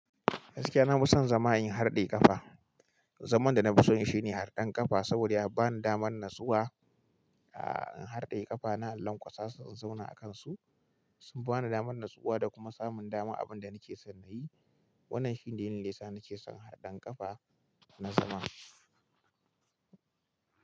Gaskiya na fi son zama in harɗe ƙafa. Zaman da na fi son shi ne harɗan ƙafa saboda ya bani damar natsuwa. Aaa, in harɗe ƙafa na, lanƙwasa su in zauna a kansu. Sun ba ni damar natsuwa da kuma samun dama abin da nake son na yi. Wannan shine dalilin da ya sa nake son harɗen ƙafa na zama.